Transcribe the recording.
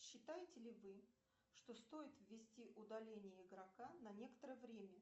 считаете ли вы что стоит ввести удаление игрока на некоторое время